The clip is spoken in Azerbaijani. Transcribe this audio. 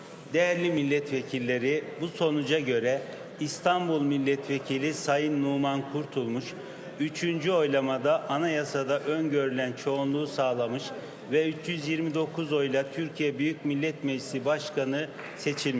Dəyərli millət vəkilləri, bu nəticəyə görə İstanbul millət vəkili cənab Numan Qurtulmuş, üçüncü səsvermədə Konstitusiyada nəzərdə tutulan çoxluğu təmin etmiş və 329 səslə Türkiyə Böyük Millət Məclisi Sədri seçilmişdir.